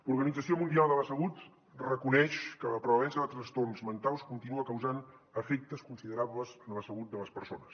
l’organització mundial de la salut reconeix que la prevalença de trastorns mentals continua causant efectes considerables en la salut de les persones